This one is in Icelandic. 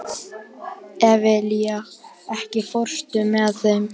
Evelía, ekki fórstu með þeim?